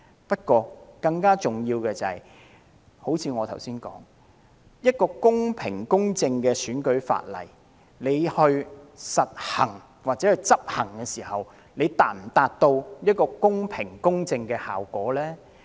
但更重要的是，正如我剛才所說，公平公正的選舉法例訂立了，但在執行時是否可以達到公平公正的效果呢？